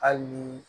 Hali ni